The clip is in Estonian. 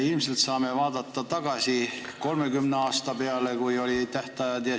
Ilmselt saame vaadata tagasi selle aja peale, kui kehtis tähtaeg 30 aastat.